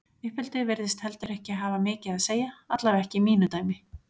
Uppeldi virðist heldur ekki hafa mikið að segja, allavega ekki í mínu dæmi.